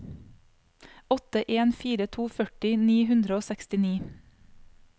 åtte en fire to førti ni hundre og sekstini